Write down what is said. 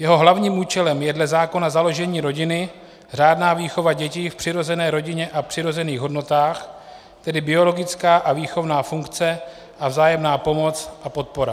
Jeho hlavním účelem je dle zákona založení rodiny, řádná výchova dětí v přirozené rodině a přirozených hodnotách, tedy biologická a výchovná funkce a vzájemná pomoc a podpora.